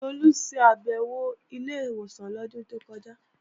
Tolú ṣàbèwò sí ilé ìwòsàn lọ́dún tó kọjá